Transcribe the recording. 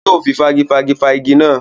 Yóò fi fágifági fá igi náà.